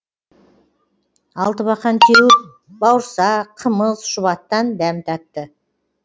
алтыбақан теуіп бауырсақ қымыз шұбаттан дәм татты